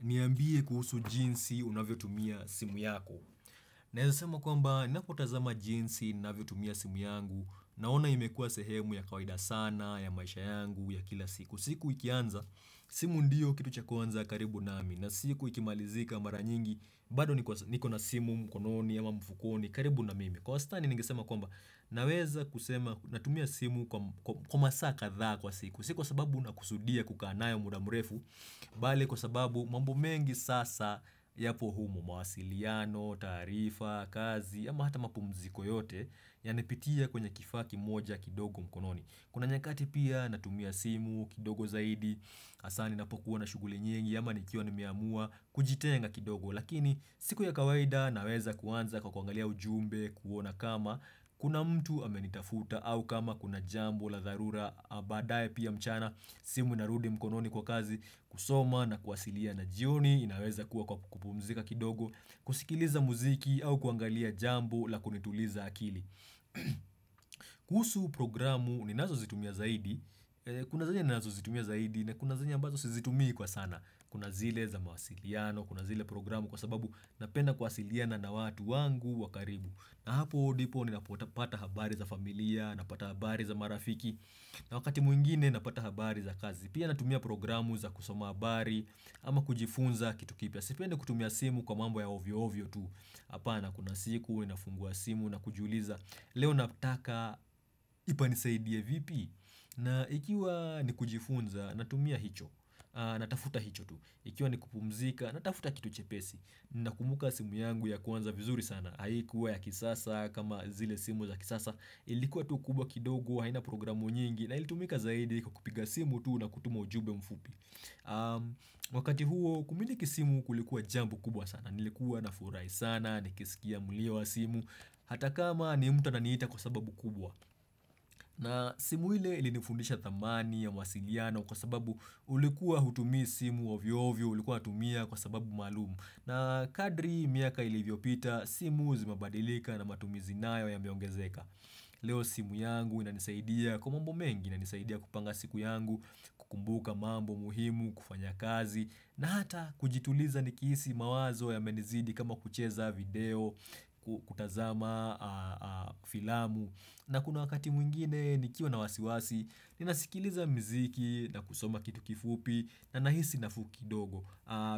Niambie kuhusu jinsi unavyotumia simu yako. Naeza sema kwamba ninapotazama jinsi ninavyotumia simu yangu naona imekua sehemu ya kawaida sana ya maisha yangu ya kila siku. Siku ikianza simu ndiyo kitu cha kwanza karibu nami na siku ikimalizika mara nyingi bado niko na simu mkononi ya mfukoni karibu na mimi. Kwa wastani ningesema kwamba naweza kusema natumia simu kwa masaa kadhaa kwa siku. Si kwa siku sababu nakusudia kukaa nayo muda mrefu, bali kwa sababu mambo mengi sasa yapo humo mawasiliano, taarifa, kazi, ama hata mapumziko yote yanapitia kwenye kifaa kimoja kidogo mkononi. Kuna nyakati pia natumia simu, kidogo zaidi, hasa ninapokuwa na shughuli nyingi, ama nikiwa nimeamua, kujitenga kidogo. Lakini siku ya kawaida naweza kuanza kwa kuangalia ujumbe, kuona kama, Kuna mtu amenitafuta au kama kuna jambo la dharura baadaye pia mchana simu inarudi mkononi kwa kazi, kusoma na kuwasiliana na jioni inaweza kuwa kupumzika kidogo, kusikiliza muziki au kuangalia jambo la kunituliza akili kuhusu programu ninazozitumia zaidi Kuna zenye ninazozitumia zaidi na kuna zenye ambazo sizitumii kwa sana Kuna zile za mawasiliano, kuna zile programu kwa sababu napena kuwasiliana na watu wangu wakaribu na hapo ndipo ninapopata habari za familia, napata habari za marafiki na wakati mwingine napata habari za kazi. Pia natumia programu za kusoma habari ama kujifunza kitu kipya, Sipendi kutumia simu kwa mambo ya ovyoovyo tu Hapana kuna siku, ninafungua simu na kujiuliza Leo nataka itanisaidia vipi na ikiwa ni kujifunza natumia hicho, natafuta hicho tu Ikiwa ni kupumzika natafuta kitu chepesi Nakumbuka simu yangu ya kwanza vizuri sana Haikuwa ya kisasa kama zile simu za kisasa ilikuwa tu kubwa kidogo haina programu nyingi na ilitumika zaidi kwa kupiga simu tu na kutuma ujumbe mfupi Wakati huo kumiliki simu kulikuwa jambo kubwa sana nilikuwa na furahi sana nikisikia mulio wa simu hata kama ni mtu ananiita kwa sababu kubwa na simu ile ilinifundisha thamani ya mawasiliano kwa sababu ulikuwa hutumi simu ovyovyo ulikuwa tumia kwa sababu maalumu na kadri miaka ilivyopita, simu zimebadilika na matumizi nayo yameongezeka. Leo simu yangu inanisaidia, kwa mambo mengi inanisaidia kupanga siku yangu, kukumbuka mambo muhimu, kufanya kazi, na hata kujituliza nikihisi mawazo yamenizidi kama kucheza video, kutazama filamu. Na kuna wakati mwingine nikiwa na wasiwasi ninasikiliza mziki na kusoma kitu kifupi na nahisi nafuu kidogo.